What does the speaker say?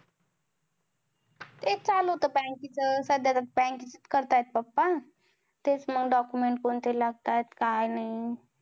तेच चालू होत bank च सध्या तर bank च करत आहेत papa तेच मग document कोणते लागतात काय नाही